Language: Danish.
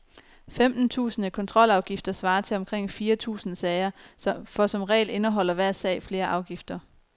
Femten tusinde kontrolafgifter svarer til omkring fire tusinde sager, for som regel indeholder hver sag flere afgifter.